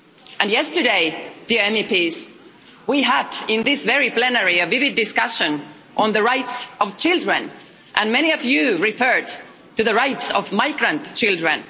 And yesterday, dear MEPs, we had in this very plenary a vivid discussion on the rights of children, and many of you referred to the rights of migrant children.